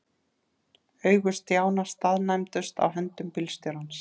Augu Stjána staðnæmdust á höndum bílstjórans.